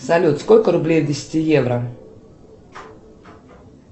салют сколько рублей в десяти евро